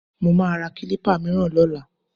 Mo máa ra kílípà mìíràn lọ́la